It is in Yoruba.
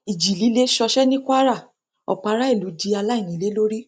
ìjì líle ṣọṣẹ ní kwara ọpọ aráàlú di aláìnílé lórí